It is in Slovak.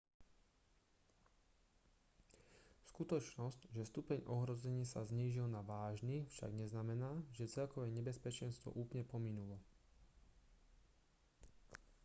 skutočnosť že stupeň ohrozenia sa znížil na vážny však neznamená že celkové nebezpečenstvo úplne pominulo